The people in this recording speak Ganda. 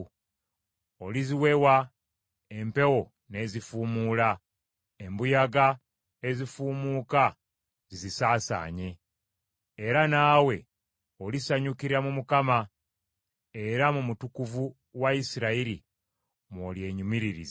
Oliziwewa empewo n’ezifuumula, embuyaga ezifuumuka zizisaasaanye. Era naawe olisanyukira mu Mukama , era mu Mutukuvu wa Isirayiri mw’olyenyumiririza.”